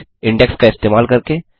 एक इंडेक्स का इस्तेमाल करके